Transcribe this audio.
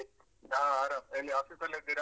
ಆ ಆರಾಮ್ ಎಲ್ಲಿ offlice ಅಲ್ಲಿದ್ದೀರಾ?